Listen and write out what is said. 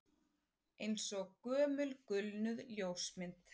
Eins og gömul gulnuð ljósmynd